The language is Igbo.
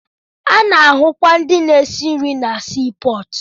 Ana-ahụkwa ndị na-esi nri na sii pọọtụ.